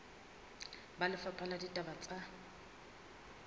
ba lefapha la ditaba tsa